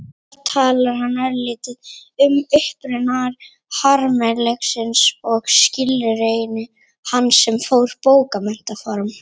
Þar talar hann örlítið um uppruna harmleiksins og skilgreinir hann sem bókmenntaform.